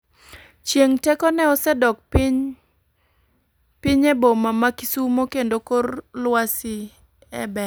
Chieng' teko ne osedok pinye boma ma kisumo kendo kor lwasi e ber.